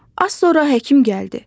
Az sonra həkim gəldi.